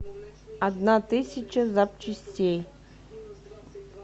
одна тысяча запчастей